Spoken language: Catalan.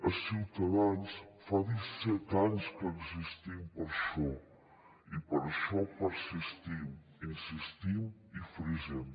a ciutadans fa disset anys que existim per això i per això persistim insistim i frisem